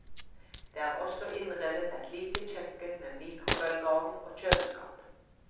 Det er også innredet et lite kjøkken med mikrobølgeovn og kjøleskap.